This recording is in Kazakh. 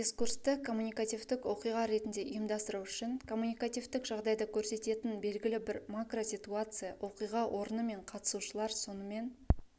дискурсты коммуникативтік оқиға ретінде ұйымдастыру үшін коммуникативтік жағдайды көрсететін белгілі бір макроситуация оқиға орны мен қатысушылар сонымен